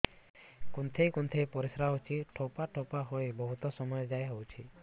କୁନ୍ଥେଇ କୁନ୍ଥେଇ ପରିଶ୍ରା ହଉଛି ଠୋପା ଠୋପା ହେଇ ବହୁତ ସମୟ ଯାଏ ହଉଛି